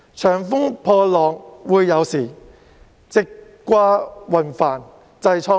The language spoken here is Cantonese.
長風破浪會有時，直掛雲帆濟滄海。